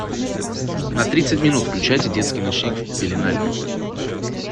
на тридцать минут включайте детский ночник в пеленальной